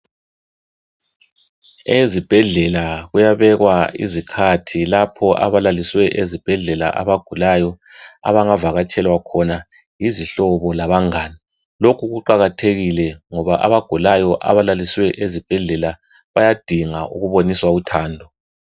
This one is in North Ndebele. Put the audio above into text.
Ezibhendlela kuyabekwa izikhathi lapho abalaliswe ezibhendlela abagulayo abangavakatshelwa khona yizihlobo labangani lokhu kuqakathekile ngoba abagulayo abalalisiweyo ezibhendlela bayadinga ukuboniswa uthando